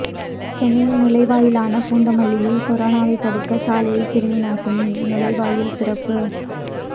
சென்னையின் நுழைவாயிலான பூந்தமல்லியில் கொரோனாவை தடுக்க சாலையில் கிருமி நாசினி நுழைவாயில் திறப்பு